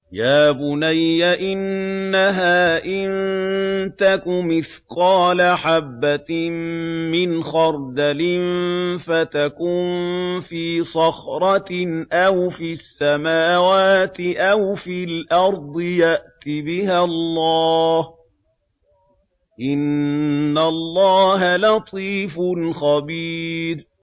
يَا بُنَيَّ إِنَّهَا إِن تَكُ مِثْقَالَ حَبَّةٍ مِّنْ خَرْدَلٍ فَتَكُن فِي صَخْرَةٍ أَوْ فِي السَّمَاوَاتِ أَوْ فِي الْأَرْضِ يَأْتِ بِهَا اللَّهُ ۚ إِنَّ اللَّهَ لَطِيفٌ خَبِيرٌ